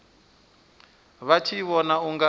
vha tshi vhona u nga